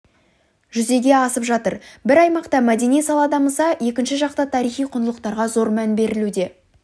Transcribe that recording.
жүзеге асып жатыр бір аймақта мәдени сала дамыса екінші жақта тарихи құндылықтарға зор мән берілуде